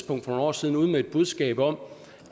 for nogle år siden ude med et budskab om